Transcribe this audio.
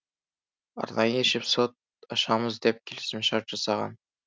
арнайы есепшот ашамыз деп келісімшарт жасаған